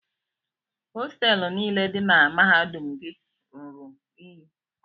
Hostelụ niile dị na mahadum gị ruru unyi.